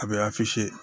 A bɛ